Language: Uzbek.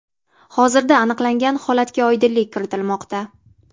Hozirda aniqlangan holatga oydinlik kiritilmoqda.